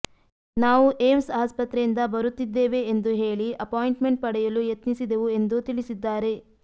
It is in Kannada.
ನಾವು ಏಮ್ಸ್ ಆಸ್ಪತ್ರೆಯಿಂದ ಬರುತ್ತಿದ್ದೇವೆ ಎಂದು ಹೇಳಿ ಅಪಾಯಿಂಟ್ಮೆಂಟ್ ಪಡೆಯಲು ಯತ್ನಿಸಿದೆವು ಎಂದು ತಿಳಿಸಿದ್ದಾರೆ